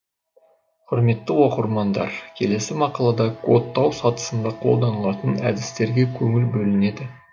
құрметті оқырмандар келесі мақалада кодтау сатысында қолданылатын әдістерге көңіл бөлінеді